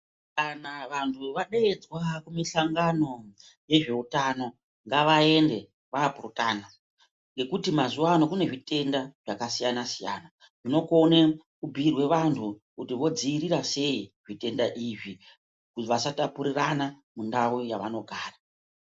Kana vanhu vadeedzwa kumusangano wezve utano ngavaende voopurutana ngekuti mazuwa ano kunezvitenda zvakasiyanasiyana zvinokone kubhuyirwe vanhu kuti vodziirira sei zvitenda izvi vasatapurirana mundau dzavanogara.